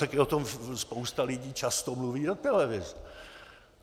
Také o tom spousta lidí často mluví do televize.